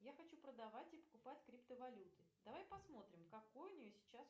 я хочу продавать и покупать криптовалюты давай посмотрим какой у нее сейчас